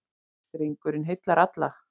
Drengurinn heillar alla.